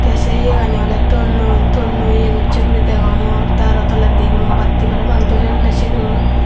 tey se yea gani oley thonnoi thonnoi yea gochi guri degongor tey aro tolendi mumbatti parapang doreyunney sigun.